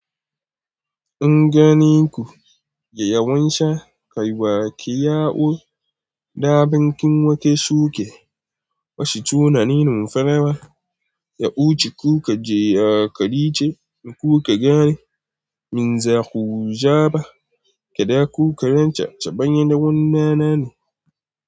In ganin ku, ya yawanci kaiwa ki yawo. Da bankin wake shuke, bashi tunanin farawa. Ya wuce kuka je a karice, ni kuka gane min zaku zaba. Kada ku karanta, ta bayan da wannan nan ne.